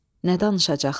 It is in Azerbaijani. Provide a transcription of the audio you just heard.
Nə danışacaqdı?